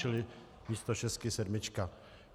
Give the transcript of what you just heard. Čili místo šestky sedmička.